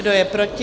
Kdo je proti?